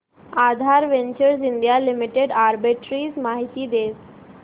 आधार ventures India limited arbitrage माहिती दे